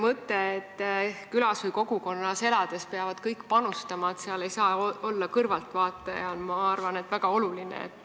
Ma arvan, et see mõte, et külas või kogukonnas elades peavad kõik panustama, seal ei saa olla kõrvaltvaataja, on väga oluline.